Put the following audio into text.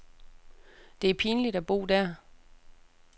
Det er pinligt at bo der.